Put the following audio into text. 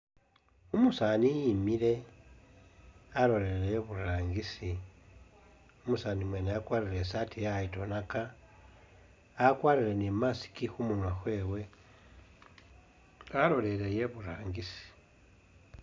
Umusaani emile alolelele i'burangisi, umusaani wene oyo wakwalire i'saati yayironaka, akwalire ni mask khumunwa khwewe alolelele i'burangisi